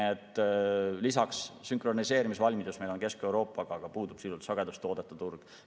Kesk-Euroopaga sünkroniseerimise valmidus meil on, aga sisuliselt puudub sagedustoodete turg.